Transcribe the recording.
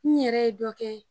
N yɛrɛ ye dɔ kɛ